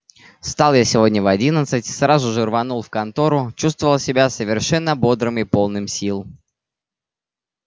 встал я сегодня в одиннадцать сразу же рванул в контору чувствовал себя совершенно бодрым и полным сил